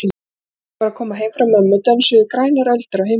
Í gærkvöldi þegar ég var að koma heim frá mömmu dönsuðu grænar öldur á himninum.